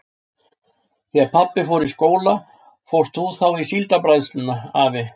Þegar pabbi fór í skóla fórst þú þá í Síldarbræðsluna, afi?